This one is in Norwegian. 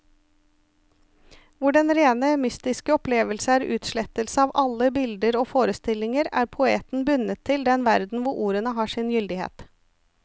Hvor den rene mystiske opplevelse er utslettelse av alle bilder og forestillinger, er poeten bundet til den verden hvor ordene har sin gyldighet.